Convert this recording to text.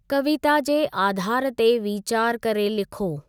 कविता जे आधारु ते वीचार करे लिखो।